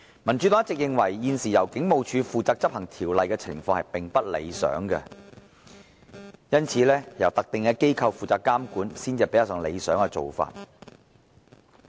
民主黨一直認為，現時由警務處負責執行條例，情況並不理想，由特定機構負責監管，才是較理想的做法。